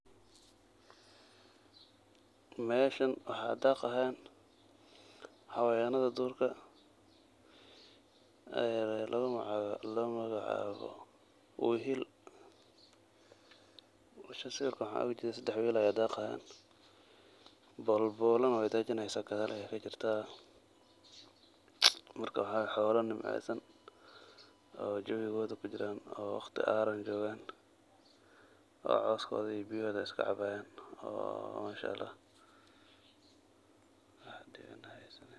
Meeshan waxa daqayan xayawanada durka oo lugumagacawo wayil, meshan sawirka waxa ogajeda sadex wayil aya daqayan bolbolana wey dajineysa gadal ayey kajirta marka wa xolo nimceysan oo waqti araan ah jogan oo coskoda iyo biyahoda cabayan.